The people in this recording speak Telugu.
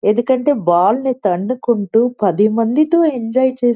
ఎందుకంటే బాల్ ని తన్నుకుంటూ పదిమంది తో ఎంజాయ్ చేస్తూ --.